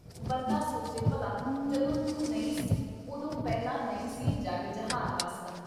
ਬੰਦਾ ਸੋਚੇ-ਭਲਾ ਜਦੋਂ ਤੂੰ ਨਹੀਂ ਸੀ ਉਦੋਂ ਪਹਿਲਾਂ ਨਹੀਂ ਸੀ ਜੱਗ ਜਹਾਨ ਵੱਸਦਾ।